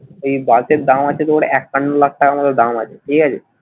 এই বাস এর দাম আছে তোর একান্ন লাখ টাকার মতো দাম আছে ঠিক আছে,